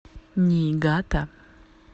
ниигата